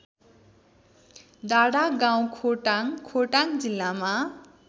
डाँडागाउँखोटाङ खोटाङ जिल्लामा